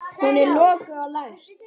Hún er lokuð og læst.